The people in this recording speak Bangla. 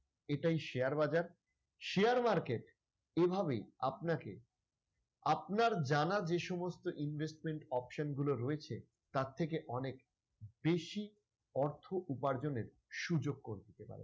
এটাই share বাজার share market এভাবে আপনাকে আপনার জানা যে সমস্ত investment option গুলো রয়েছে তার থেকে অনেক বেশি অর্থ উপার্জনের সুযোগ করে দিতে পারে।